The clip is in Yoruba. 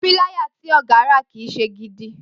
Píláyà tí ògá rà kì í se gidi